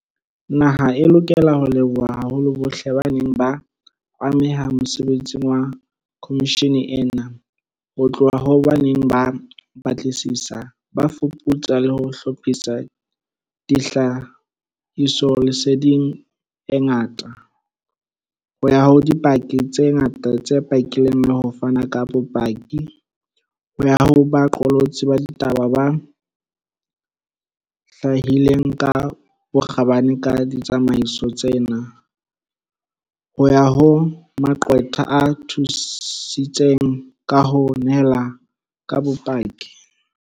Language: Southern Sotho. Naha e lokela ho leboha haholo bohle ba neng ba ameha mosebetsing wa khomishene ena, ho tloha ho ba neng ba batlisisa, ba fuputsa le ho hlophisa tlha hisoleseding e ngata, ho ya ho dipaki tse ngata tse pakileng le ho fana ka bopaki, ho ya ho baqolotsi ba ditaba ba tlalehileng ka bokgabane ka ditsamaiso tsena, ho ya ho maqwetha a thusitseng ka ho nehelana ka bopaki.